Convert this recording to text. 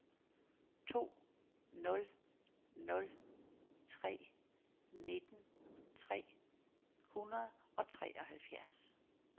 to nul nul tre nitten tre hundrede og treoghalvfjerds